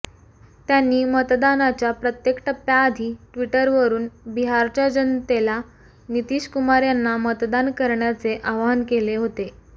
त्यांनी मतदानाच्या प्रत्येक टप्प्याआधी टि्वटरवरुन बिहारच्या जनतेला नितीश कुमार यांना मतदान करण्याचे आवाहन केले होते